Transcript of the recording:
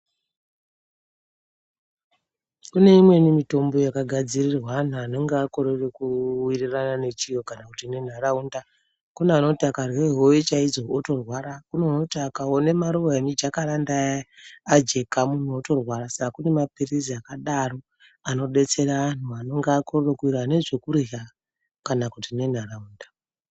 Kuneimweni mitombo yakagadzirirwa anhu anenge akorere kuwirirana nechiro kana kuti nenharaunda kune anoti akarye howe chaidzo otorwara kune anoti akaone maruwa emujakaranda aya ajeka munhu otorwara saka kune mapilizi akadaro anodetsera anhu anonga akorere kuwirirana nezvekurya kana kuti nenharaunda.